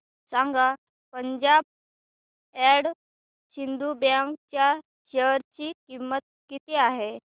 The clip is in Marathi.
सांगा पंजाब अँड सिंध बँक च्या शेअर ची किंमत किती आहे